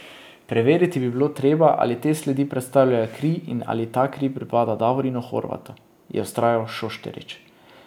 Preveriti bi bilo treba, ali te sledi predstavljajo kri in ali ta kri pripada Davorinu Horvatu, je vztrajal Šošterič.